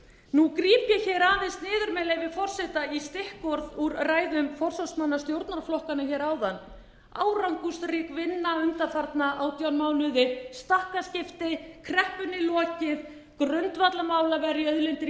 nú gríp ég hér aðeins niður með leyfi forseta í stikkorð úr ræðum forsvarsmanna stjórnarflokkanna hér áðan árangursrík vinna undanfarna átján mánuði stakkaskipti kreppunni lokið grundvallarmál að verja auðlindir